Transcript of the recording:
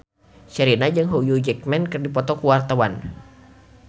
Sherina jeung Hugh Jackman keur dipoto ku wartawan